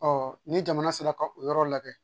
ni jamana sera ka o yɔrɔ lajɛ